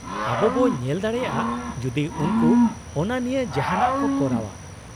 -ᱟᱵᱚ ᱵᱚ ᱧᱮᱞ ᱫᱟᱲᱮᱭᱟᱜᱼᱟ ᱡᱩᱫᱤ ᱩᱱᱠᱩ ᱚᱱᱟ ᱱᱤᱭᱟᱹ ᱡᱟᱦᱟᱸᱱᱟᱜ ᱠᱚ ᱠᱚᱨᱟᱣᱼᱟ ᱾